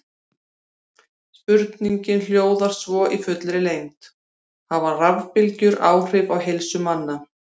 Spurningin hljóðar svo í fullri lengd: Hafa rafbylgjur áhrif á heilsu manna?